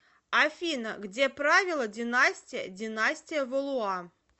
афина где правила династия династия валуа